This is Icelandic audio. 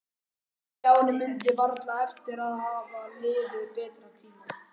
Stjáni mundi varla eftir að hafa lifað betri tíma.